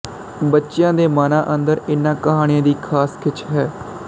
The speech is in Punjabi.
ਬੱਚਿਆਂ ਦੇ ਮਨਾਂ ਅੰਦਰ ਇਨ੍ਹਾਂ ਕਹਾਣੀਆਂ ਦੀ ਖਾਸ ਖਿੱਚ ਹੈ